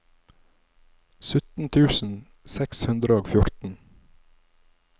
sytten tusen seks hundre og fjorten